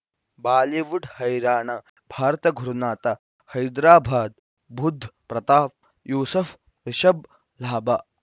Bollywood ಹೈರಾಣ ಭಾರತ ಗುರುನಾಥ ಹೈದರಾಬಾದ್ ಬುಧ್ ಪ್ರತಾಪ್ ಯೂಸುಫ್ ರಿಷಬ್ ಲಾಭ